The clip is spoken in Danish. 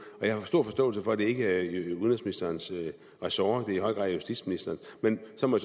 og jeg har stor forståelse for at det ikke er udenrigsministerens ressort det er i høj grad justitsministerens men så må